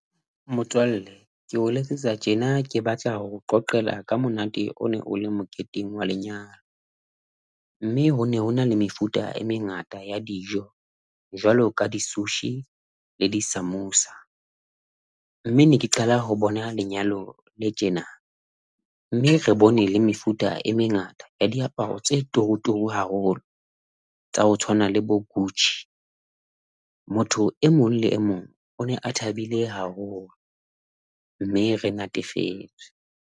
Motswalle ke o letsetsa tjena ke batla ho o qoqela ka monate o ne o le moketeng wa lenyalo, mme ho ne ho na le mefuta e mengata ya dijo jwalo ka di sushi, le di samoosa, mme ne ke qala ho bona lenyalo le tjena mme re bone le mefuta e mengata ya diaparo tse turuturu haholo, tsa ho tshwana le bo Gucci. Motho e mong le e mong o ne a thabile haholo mme re natefetswe.